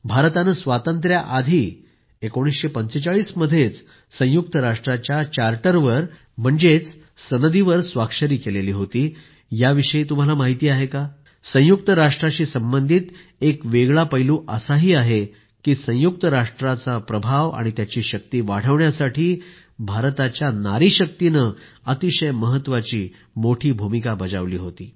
भारताने स्वांतत्र्याआधी 1945 मध्येच संयुक्त राष्ट्राच्या चार्टरवर म्हणजेच सनदीवर स्वाक्षरी केली होती याविषयी तुम्हाला माहिती आहे संयुक्त राष्ट्राशी संबंधित एका वेगळा पैलू असा आहे की संयुक्त राष्ट्राचा प्रभाव आणि त्याची शक्ती वाढविण्यासाठी भारताच्या नारीशक्तीने अतिशय महत्वाची मोठी भूमिका बजावली आहे